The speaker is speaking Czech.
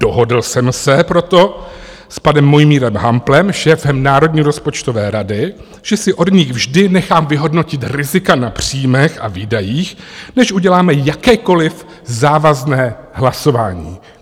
Dohodl jsem se proto s panem Mojmírem Hamplem, šéfem Národní rozpočtové rady, že si od nich vždy nechám vyhodnotit rizika na příjmech a výdajích, než uděláme jakékoliv závazné hlasování.